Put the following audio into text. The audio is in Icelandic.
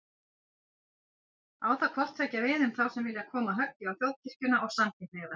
Á það hvort tveggja við um þá sem vilja koma höggi á Þjóðkirkjuna og samkynhneigða.